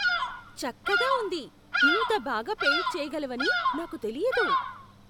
చక్కగా ఉంది! ఇంత బాగా పెయింట్ చేయగలవని నాకు తెలియదు!